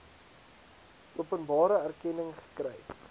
openbare erkenning gekry